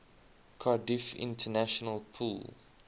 cardiff international pool